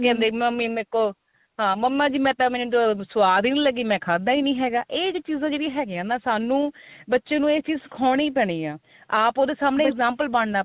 ਕਹਿੰਦੇ mummy ਮੇਰੇ ਤੋ mamma ਜੀ ਮੈਂ ਤਾਂ ah ਸਵਾਦ ਈ ਨਹੀ ਲੱਗੀ ਮੈਂ ਖਾਦਾ ਹੀ ਨਹੀ ਹੈਗਾ ਇਹ ਚੀਜ਼ਾਂ ਜਿਹੜੀਆਂ ਹੈਗੀਆ ਨਾ ਸਾਨੂੰ ਬੱਚੇ ਨੂੰ ਇਹ ਚੀਜ ਸ਼ਿਖਾਉਣੀ ਪੈਣੀ ਏ ਆਪ ਉਹਦੇ ਸਾਮਨੇ example ਬਣਨਾ